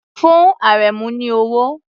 Fún Àrẹ̀mú ní owó!